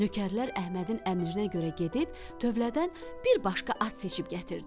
Nökərlər Əhmədin əmrinə görə gedib tövlədən bir başqa at seçib gətirdilər.